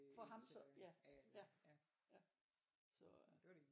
For ham så ja ja ja så øh